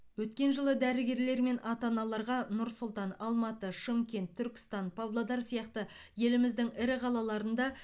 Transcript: өткен жылы дәрігерлер мен ата аналарға нұр сұлтан алматы шымкент түркістан павлодар сияқты еліміздің ірі қалаларында